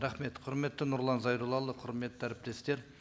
рахмет құрметті нұрлан зайроллаұлы құрметті әріптестер